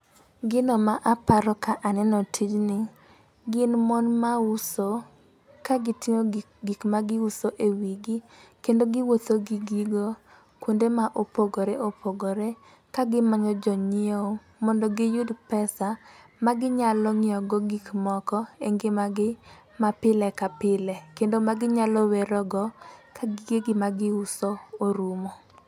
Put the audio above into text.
Gino ma aparo ka aneno tijni gin mon mauso ka giting'o gik gik ma giuso e wigi. Kendo giwuotho gi gigo, kuonde ma opogore opogore. Ka gimanyo jo nyiewo mondo giyud pesa ma ginyalo nyiewo godo gik moko e ngimagi ma pile ka pile. Kendo ma ginyalo werogo ka gige gi magiuso orumo.